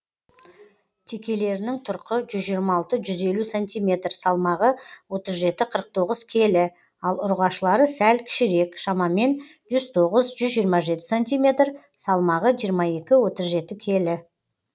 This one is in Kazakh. текелерінің тұрқы жүз жиырма алты жүз елу сантиметр салмағы отыз жеті қырық тоғыз келі ал ұрғашылары сәл кішірек шамамен жүз тоғыз жүз жиырма жеті сантиметр салмағы жиырма екі отыз жеті келі